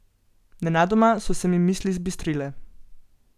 Nenadoma so se mi misli zbistrile.